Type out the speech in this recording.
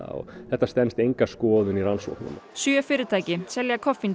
þetta stenst enga skoðun í rannsóknum sjö fyrirtæki selja